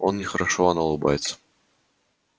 он нехорошо она улыбается